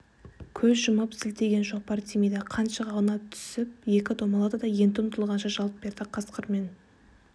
көз жұмып сілтеген шоқпар тимейді қаншық аунап түсіп екі домалады да енді ұмтылғанша жалт берді қасқырмен